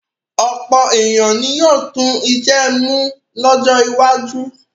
Ọ̀pọ̀ ènìyàn ni yóò tú iṣẹ́ mú lọ́jọ́ iwájú.